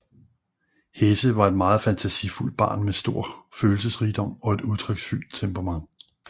Hesse var et meget fantasifuldt barn med stor følelsesrigdom og et udtryksfuldt temperament